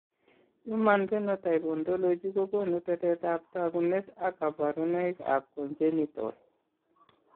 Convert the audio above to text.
Human Phenotype Ontology kogonu tetet ab tagunet ak kabarunaik ab Congenital